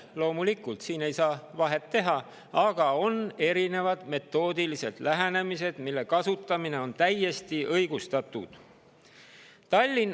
Loomulikult ei saa siin vahet teha, aga on erinevad metoodilised lähenemised, mille kasutamine on täiesti õigustatud.